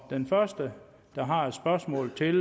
den første der har et spørgsmål til